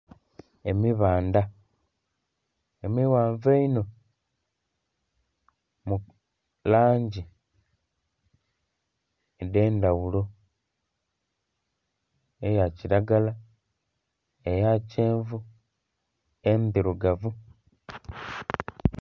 Emibandha emighanvu einho mu langi edhendhaghulo eya kiragala, eya kyenvu, endhirugavu.